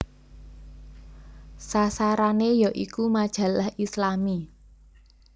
Sasarane ya iku majalah Islami